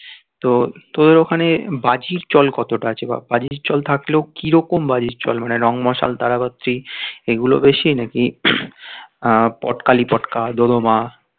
তো তোদের ওখানে বাজির চল কতটা আছে? বা বাজির চল থাকলেও কি রকম বাজির চল? মানে রং মশাল তারা বাতি এগুলো বেশি নাকি পট কালী পটকা, দোদোম